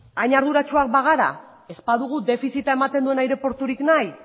hain arduratsuak bagara eta ez badugu defizita ematen duen aireporturik nahi